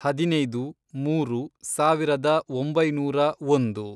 ಹದಿನೈದು, ಮೂರು, ಸಾವಿರದ ಒಂಬೈನೂರ ಒಂದು